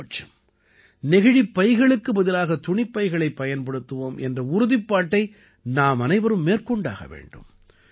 குறைந்தபட்சம் நெகிழிப் பைகளுக்கு பதிலாகத் துணிப் பைகளைப் பயன்படுத்துவோம் என்ற உறுதிப்பாட்டை நாமனைவரும் மேற்கொண்டாக வேண்டும்